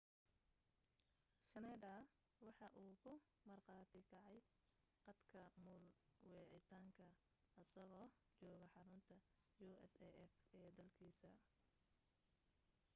schneider waxa uu ku marqaati kacay qadka muul wicitaanka asagoo jooga xarunta usaf ee dalkiisa